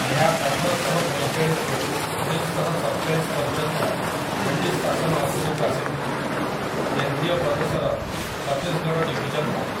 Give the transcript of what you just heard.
ଏହା ଅଠରଶହପଇଁଚାଳିଶ ରୁ ଉଣେଇଶଶହସତଚାଳିଶ ପର୍ଯ୍ୟନ୍ତ ବ୍ରିଟିଶ ଶାସନ ଅଧୀନକୁ ଆସିଥିଲା, କେନ୍ଦ୍ରୀୟ ପ୍ରଦେଶର ଛତିଶଗଡ଼ ଡିଭିଜନ ଭାବେ ।